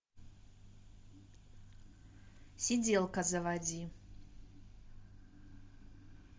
сиделка заводи